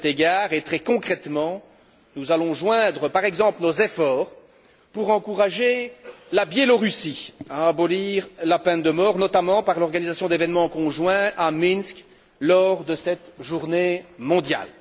À cet égard, et très concrètement, nous allons par exemple joindre nos efforts pour encourager la Biélorussie à abolir la peine de mort, notamment par l'organisation d'événements conjoints à Minsk lors de cette journée mondiale.